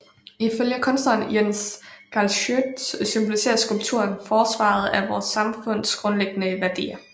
Ifølge kunstneren Jens Galschiøt symboliserer skulpturen forsvaret af vores samfunds grundlæggende værdier